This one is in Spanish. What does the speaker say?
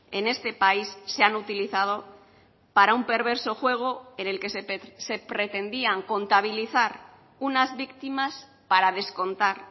en este país se han utilizado para un perverso juego en el que se pretendían contabilizar unas víctimas para descontar